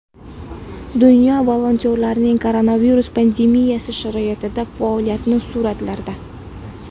Dunyo volontyorlarining koronavirus pandemiyasi sharoitidagi faoliyati – suratlarda.